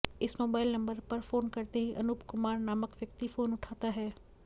इस mobile number पर phone करते ही अनुप कुमार नामक व्यक्ति फोन उठाता है